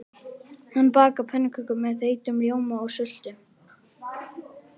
Hanna bakar pönnukökur með þeyttum rjóma og sultu.